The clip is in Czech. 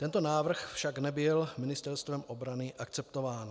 Tento návrh však nebyl Ministerstvem obrany akceptován.